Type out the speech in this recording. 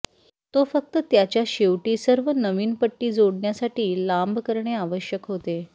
तो फक्त त्याच्या शेवटी सर्व नवीन पट्टी जोडण्यासाठी लांब करणे आवश्यक होते